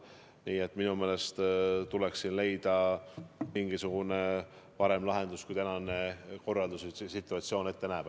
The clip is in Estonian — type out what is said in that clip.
Nii et minu meelest tuleks siin leida mingisugune parem lahendus, kui tänane korralduslik situatsioon ette näeb.